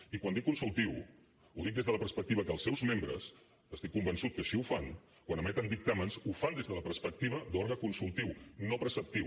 i quan dic consultiu ho dic des de la perspectiva que els seus membres estic convençut que així ho fan quan emeten dictàmens ho fan des de la perspectiva d’òrgan consultiu no preceptiu